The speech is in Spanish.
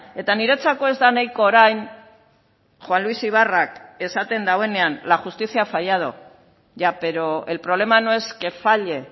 eta niretzako ez da nahiko orain juan luis ibarrak esaten duenean la justicia ha fallado ya pero el problema no es que falle